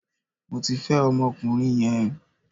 Mo ti fẹ́ ọmọkùnrin yẹn